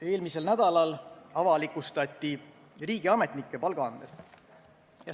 Eelmisel nädalal avalikustati riigiametnike palgaandmed.